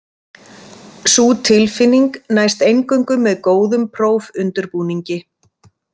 Sú tilfinning næst eingöngu með góðum prófundirbúningi.